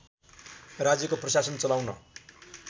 राज्यको प्रशासन चलाउन